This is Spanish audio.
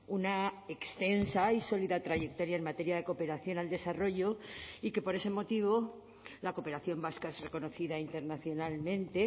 una extensa y sólida trayectoria en materia de cooperación al desarrollo y que por ese motivo la cooperación vasca es reconocida internacionalmente